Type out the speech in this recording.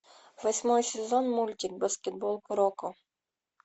восьмой сезон мультик баскетбол куроко